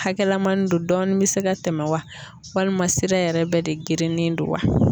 Hakɛlamannin do dɔɔni bɛ se ka tɛmɛn wa walima sira yɛrɛ bɛɛ de gerenen do wa?